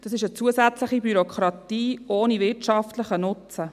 Dies ist eine zusätzliche Bürokratie ohne wirtschaftlichen Nutzen.